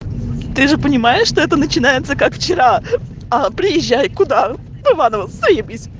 ты же понимаешь что это начинается как вчера а приезжай куда в иваново заебись